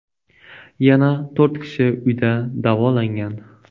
Yana to‘rt kishi uyda davolangan.